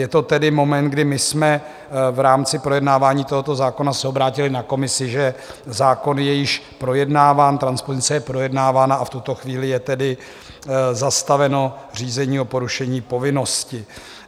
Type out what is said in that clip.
Je to tedy moment, kdy my jsme v rámci projednávání tohoto zákona se obrátili na Komisi, že zákon je již projednáván, transpozice je projednávána, a v tuto chvíli je tedy zastaveno řízení o porušení povinnosti.